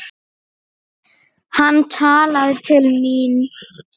Hann talaði til mín.